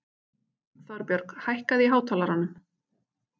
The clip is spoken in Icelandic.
Þorbjörg, hækkaðu í hátalaranum.